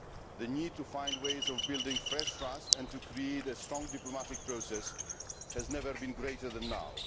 The need to find ways of building fresh trust and to create a strong diplomatic process has never been greater than now.